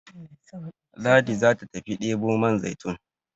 Ladi za ta tafi debo man zaitun